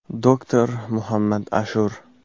Doktor Muhammad Ashur.